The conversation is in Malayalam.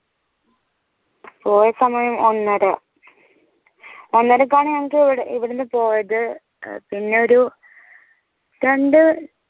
പോയ സമയം ഒന്നര ഒന്നരക്കാണ് ഞങ്ങക്ക് ഇവിടെ ഇവ്ടെന്ന പോയത് ഏർ പിന്നൊരു രണ്ട്